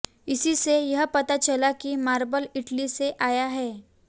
इसीसे यह पता चला कि मार्बल इटली से आया है